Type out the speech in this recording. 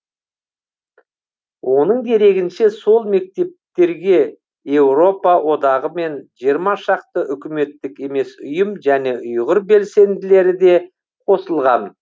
оның дерегінше сол мемлекеттерге еуропа одағы мен жиырма шақты үкіметтік емес ұйым және ұйғыр белсенділері де қосылған